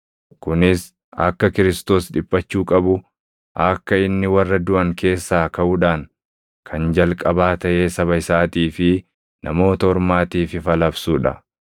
Kunis akka Kiristoos + 26:23 yookaan Masiihichi dhiphachuu qabu, akka inni warra duʼan keessaa kaʼuudhaan kan jalqabaa taʼee saba isaatii fi Namoota Ormaatiif ifa labsuu dha.”